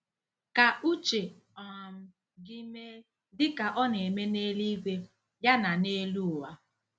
" Ka uche um gị mee, dị ka ọ na-eme n'eluigwe, ya na n'elu ụwa."